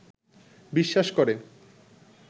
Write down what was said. বিশ্বাস করে